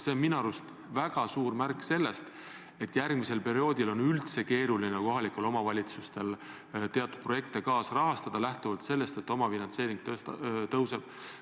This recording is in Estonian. See on minu arust väga suur märk sellest, et järgmisel perioodil on üldse keeruline kohalikul omavalitsustel teatud projekte kaasrahastada, lähtuvalt sellest, et omafinantseering tõuseb.